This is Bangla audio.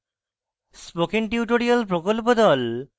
spoken tutorial প্রকল্প the